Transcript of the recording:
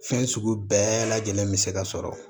Fɛn sugu bɛɛ lajɛlen bi se ka sɔrɔ